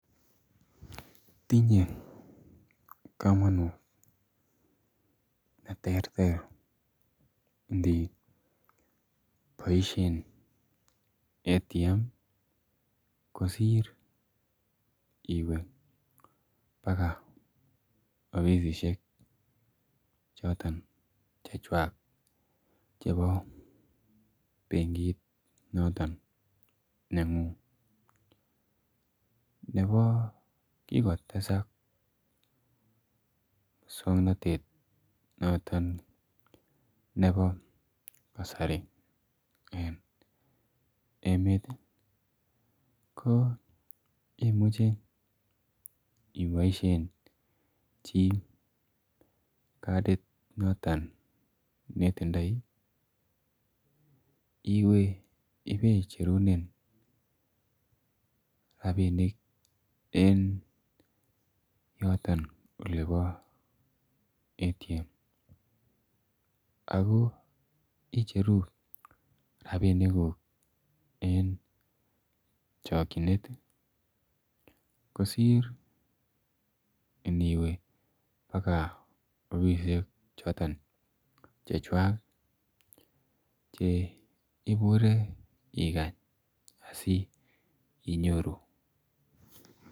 Tinyei kamanut ne terter ndiit boisien [automatic vending machine] kosiir iweeh pakaa offisiek chotoon che chwaak chebo benkiit nengung Nebo kikotesaak Musangnatet notoon nebo kasari eng emeet ii ko imuchei iboisien chii katit notoon netindoi iweeh ibaicherunen rapinik en yotoon ole bo [automatic vending machine] ako icheruu rapinik guug eng chakyineet kosiir iniwee paaka offisiek chotoon che chwaak ole iburee asikobiit inyoruu.